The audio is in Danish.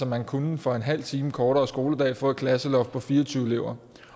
man kunne for en halv time kortere skoledag få et klasseloft på fire og tyve elever